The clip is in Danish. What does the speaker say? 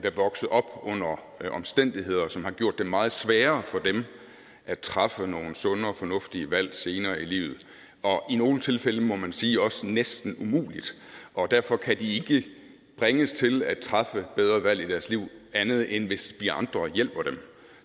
er vokset op under omstændigheder som har gjort det meget sværere for dem at træffe nogle sunde og fornuftige valg senere i livet og i nogle tilfælde må man sige også næsten er umuligt og derfor kan de ikke bringes til at træffe bedre valg i deres liv andet end hvis vi andre hjælper dem